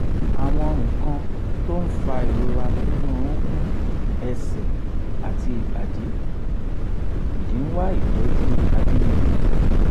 àwọn nǹkan tó ń fa ìrora nínú orukun ẹ̀sẹ̀ àti ibadi ìdí ń wá ìtọ́jú àbínibí